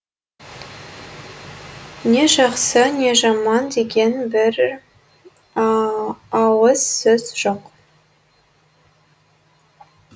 не жақсы не жаман деген бір ауыз сөз жоқ